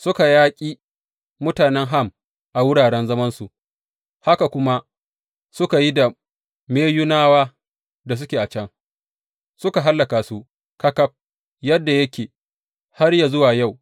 Suka yaƙi mutanen Ham a wuraren zamansu, haka kuma suka yi da Meyunawa da suke can, suka hallaka su ƙaƙaf, yadda yake har yă zuwa yau.